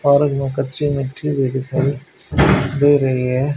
और कच्ची मिट्टी भी दिखाई दे रही है।